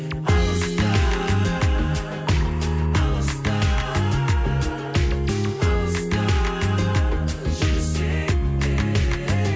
алыста алыста алыста жүрсең де ей